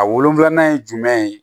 A wolonfila ye jumɛn ye